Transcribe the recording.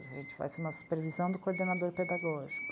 A gente faz uma supervisão do coordenador pedagógico.